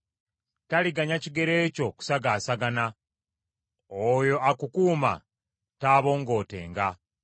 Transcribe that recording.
Taliganya kigere kyo kusagaasagana; oyo akukuuma taabongootenga.